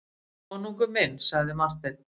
Konungur minn, sagði Marteinn.